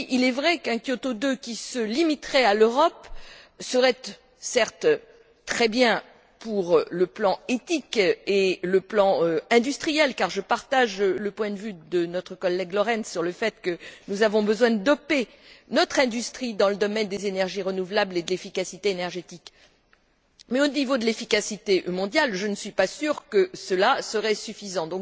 Oui, il est vrai qu'un Kyoto II qui se limiterait à l'Europe serait, certes, très bien sur le plan éthique et sur le plan industriel, car je partage le point de vue de notre collègue Florenz sur le fait que nous avons besoin de doper notre industrie dans le domaine des énergies renouvelables et de l'efficacité énergétique. Mais au niveau de l'efficacité mondiale, je ne suis pas sûre que cela serait suffisant.